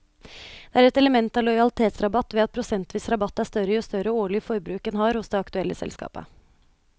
Det er et element av lojalitetsrabatt ved at prosentvis rabatt er større jo større årlig forbruk en har hos det aktuelle selskapet.